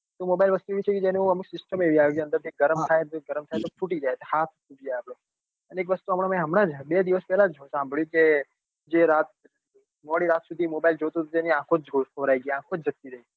તો mobile વસ્તુ એવી છે કે એના અંદર system એવી આવે કે એ અંદર થી ગરમ થાય અને ગરમ થાય પછી ફૂટી જાય તો હાથ ફૂટી જાય આપડો અને એક વસ્તુ હમણાં જ બે દિવસ પેલા જ સાંભળી કે જે રાત સુધી મોડીરાત સુધી mobile કે જોતું હતું એની આંખો જ ખોવારાઈ ગઈ આંખો જ જતી રાઈ.